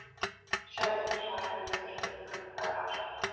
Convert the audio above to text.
Sjá einnig svar höfundar við spurningunni Hvað er ást?